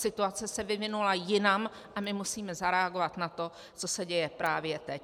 Situace se vyvinula jinam a my musíme zareagovat na to, co se děje právě teď.